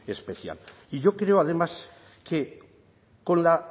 especial y yo creo además que con la